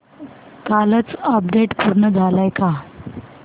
कालचं अपडेट पूर्ण झालंय का